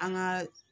An ka